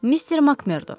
Mister MakMerdo.